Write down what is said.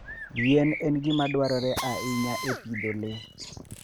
yien en gima dwarore ahinya e pidho le.